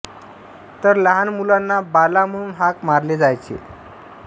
तर लहान मुलांना बाला म्हणून हाक मारले जायचे